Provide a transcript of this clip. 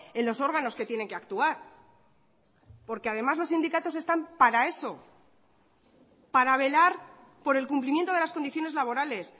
en los órganos que tienen que actuar porque además los sindicatos están para eso para velar por el cumplimiento de las condiciones laborales